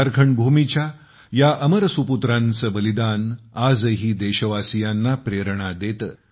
झारखंड भूमीच्या या अमर सुपुत्रांचे बलिदान आजही देशवासीयांना प्रेरणा देते